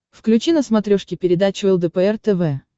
включи на смотрешке передачу лдпр тв